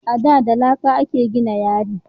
A da da laƙa a ke gina yari